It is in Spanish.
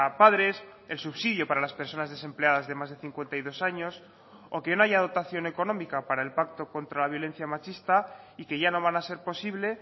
padres el subsidio para las personas desempleadas de más de cincuenta y dos años o que no haya dotación económica para el pacto contra la violencia machista y que ya no van a ser posible